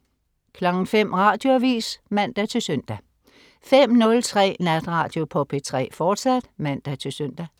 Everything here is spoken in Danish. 05.00 Radioavis (man-søn) 05.03 Natradio på P3, fortsat (man-søn)